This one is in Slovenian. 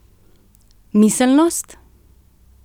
Miselnost?